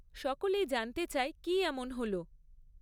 সকলেই জানতে চায় কী এমন হল?